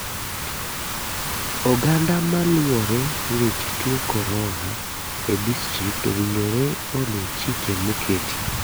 Oganda maluwore weche tuo korona e district owinjore olu chike moketi.